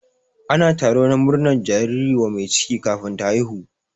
Ana taro na murnar jariri wa mai ciki kafin ta haihu.